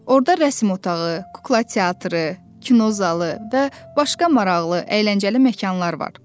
Orda rəsm otağı, kukla teatrı, kinozalı və başqa maraqlı, əyləncəli məkanlar var.